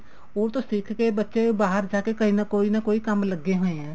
ਉਹ ਤੋਂ ਸਿੱਖ ਕੇ ਬੱਚੇ ਬਾਹਰ ਜਾ ਕੇ ਕੋਈ ਨਾ ਕੋਈ ਕੰਮ ਲੱਗੇ ਹੋਏ ਐ